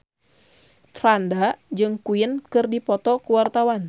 Franda jeung Queen keur dipoto ku wartawan